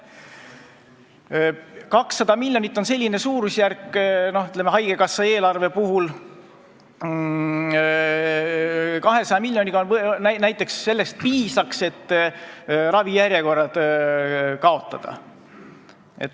200 miljonit on selline suurusjärk, et haigekassa saaks ravijärjekorrad kaotada.